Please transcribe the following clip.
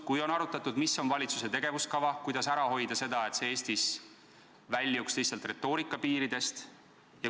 Kui on arutatud, siis mis on valitsuse tegevuskava, kuidas ära hoida seda, et see Eestis väljub lihtsalt retoorika piiridest?